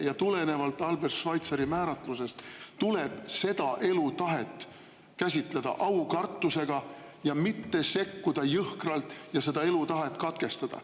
Ja tulenevalt Albert Schweitzeri määratlusest tuleb seda elutahet käsitleda aukartusega, mitte sekkuda jõhkralt ja seda elutahet katkestada.